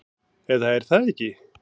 Eða er það ekki?